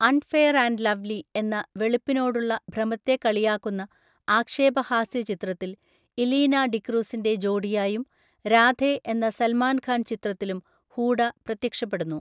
Unfair and lovely എന്ന, വെളുപ്പിനോടുള്ള ഭ്രമത്തെ കളിയാക്കുന്ന ആക്ഷേപഹാസ്യചിത്രത്തിൽ ഇലീനാ ഡിക്രൂസിൻ്റെ ജോഡിയായും രാധെ എന്ന സൽമാൻ ഖാൻ ചിത്രത്തിലും ഹൂഡ പ്രത്യക്ഷപ്പെടുന്നു.